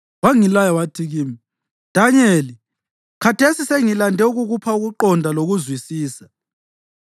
Wangilaya wathi kimi, “Danyeli, khathesi sengilande ukukupha ukuqonda lokuzwisisa.